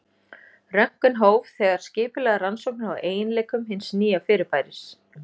Röntgen hóf þegar skipulegar rannsóknir á eiginleikum hins nýja fyrirbæris.